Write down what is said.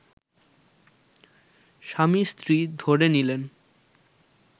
স্বামী-স্ত্রী ধরে নিলেন